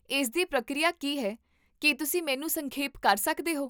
ਇਸਦੀ ਪ੍ਰਕਿਰਿਆ ਕੀ ਹੈ, ਕੀ ਤੁਸੀਂ ਮੈਨੂੰ ਸੰਖੇਪ ਕਰ ਸਕਦੇ ਹੋ?